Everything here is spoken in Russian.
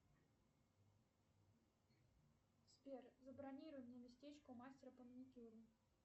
сбер забронируй мне местечко у мастера по маникюру